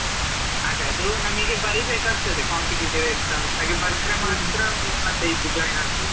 ಅದೇ ಅದು, ನಮಿಗೆ ಬರೀಬೇಕಾಗ್ತದೆ competitive exam ಹಾಗೆ ಬರ್ದ್ರೆ ಮಾತ್ರಾ ಮತ್ತೆ ಇದು join ಆಗ್ಬೋದು.